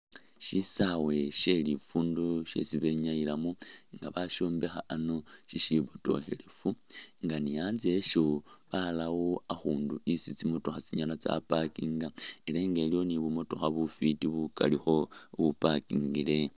Sysawe sye lifundo syesi benyayilamu nga basyombekha ano syisyibotokhelefu nga ni anzye anyone barawo akhuunu isi tsimotokha tsinyala tsapakinga ela nga iliwo ni bu motokha bufwiti bukaalikho bupakingile.